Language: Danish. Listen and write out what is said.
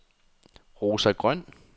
Rosa Grøn